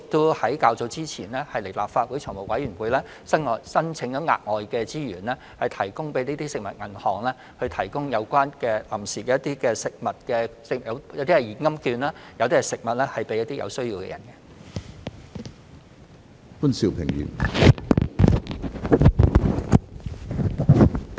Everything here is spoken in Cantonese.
我們較早前亦已向立法會財務委員會申請額外資源，為食物銀行提供一些現金券和食物，以派發給有需要人士。